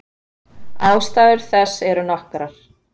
Ástæður þess eru nokkrar.